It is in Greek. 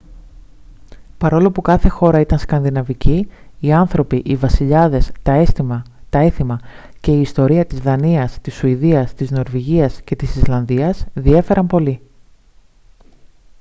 παρόλο που κάθε χώρα ήταν «σκανδιναβική» οι άνθρωποι οι βασιλιάδες τα έθιμα και η ιστορία της δανίας της σουηδίας της νορβηγίας και της ισλανδίας διέφεραν πολύ